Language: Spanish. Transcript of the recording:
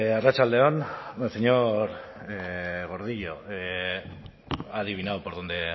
arratsalde on señor gordillo ha adivinado por dónde